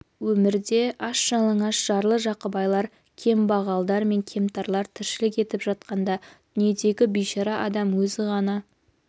өмірде аш-жалаңаш жарлы-жақыбайлар кембағалдар мн кемтарлар тіршілік етіп жатқанда дүниедегі бейшара адам өзі ғана